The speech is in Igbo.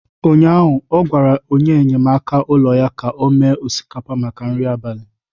ụnyaahụ, ọ gwara enyemaka ụlọ ya ka o mee osikapa maka nri abalị.